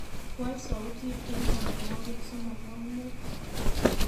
Waal sautit eng tamanwogik somok ak muut